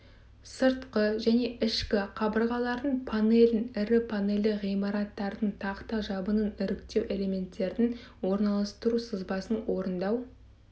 сыртқы және ішкі қабырғалардың панелін ірі панельді ғимараттардың тақта жабынын іріктеу элементтердің орналастыру сызбасын орындау